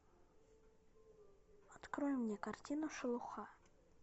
открой мне картину шелуха